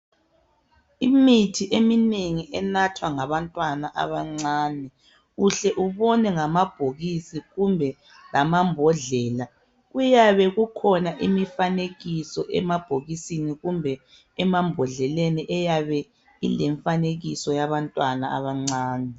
Imithi eminengi enathwa ngabantwana abancane uhle ubone ngamabhokisi kumbe lamabhodlela, kuyabe kukhona imifanekiso emabhokisini kumbe emabhodleleni kuyabe kulemifanekiso yabantwana abancane.